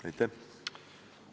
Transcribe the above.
Aitäh!